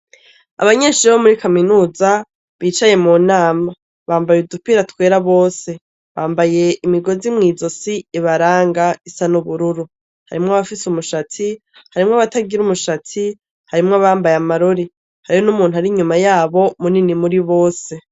Abanyeshure bo muri kaminuza, bicaye mu nama bambaye udupira twera bose ,bambaye imigozi mw'izo si ibaranga, isa n'ubururu, harimwo abafise umushatsi, harimwo abatagira umushatsi ,harimwo abambaye amarori hariho n'umuntu ari inyuma yabo munini muri bose.